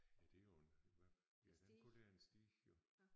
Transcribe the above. Ja det jo en hvad ja den kalder jeg en stige jo